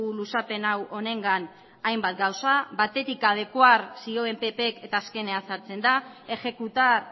luzapen hau honengan hainbat gauza batetik adecuar zioen ppk eta azkenean sartzen da ejecutar